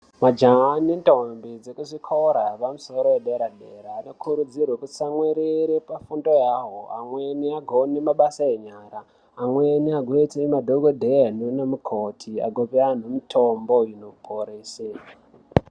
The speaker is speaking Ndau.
Majaha nendombi dzekuzvikora zvepamusoro yedera dera zvino kurudzirwe ku tsamwirire pafundo yahoo amweni akone mabasa enyara amweni agone kuita madhokoteya nanamukoti kupaantu mutombo yekuporesa.